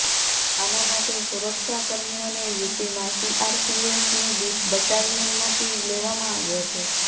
આના માટે સુરક્ષા કર્મીઓને યુપીમાં સીઆરપીએફની બટાલિયનમાંથી લેવામાં આવ્યો છે